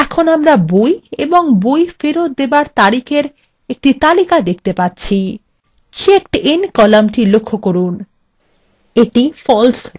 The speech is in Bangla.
এবং আমরা বই এবং বই ফেরত দেবার তারিখএর একটি তালিকা দেখতে পাচ্ছি এবং checkedin কলামthe লক্ষ্য করুন এটি false রয়েছে